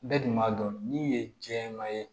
Bɛɛ dun b'a dɔn min ye jɛman ye